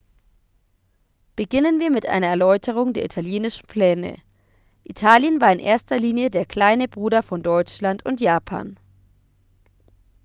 beginnen wir mit einer erläuterung der italienischen pläne italien war in erster linie der kleine bruder von deutschland und japan